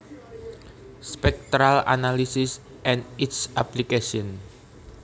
Spectral analysis and its applications